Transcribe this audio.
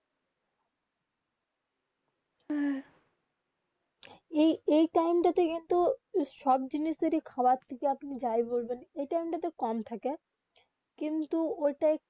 যেই টাইম তা কিন্তু সব জিনিসের খোৱাত তাকে আপনি যায় বলবেন এই টাইম তা কম থাকে কিন্তু ওটা